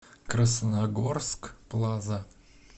красногорск плаза